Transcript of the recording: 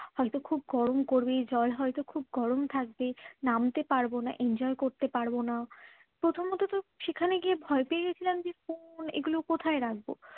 হয়তো খুব গরম করবে জল হয়তো খুব গরম থাকবে নামতে পারবো না enjoy করতে পারবো না প্রথমত সেখানে গিয়ে ভয় পেয়ে গিয়েছিলাম যে ফোন এগুলো কোথায় রাখবো